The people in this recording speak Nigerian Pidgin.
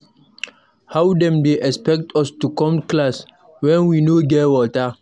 How dem dey expect us to come class wen we no get water.